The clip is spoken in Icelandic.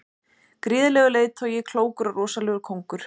Gríðarlegur leiðtogi, klókur og rosalegur kóngur.